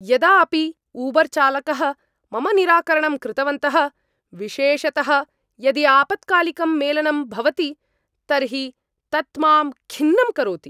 यदा अपि ऊबर्चालकः मम निराकरणंकृतवन्तः, विशेषतः यदि आपत्कालिकं मेलनं भवति तर्हि तत् मां खिन्नं करोति।